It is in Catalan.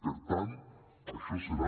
per tant això serà